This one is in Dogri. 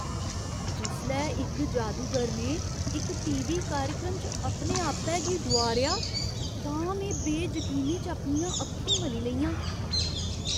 जिसलै इक जादूगर ने इक टीवी कार्यक्रम च अपने आपै गी डुआरेआ तां में बेजकीनी च अपनियां अक्खीं मली लेइयां।